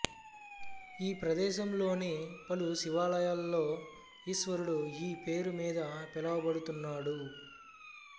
ఈ ప్రదేశంలోని పలు శివాలయాల్లో ఈశ్వరుడు ఈ పేరు మీద పిలువబడుతున్నాడు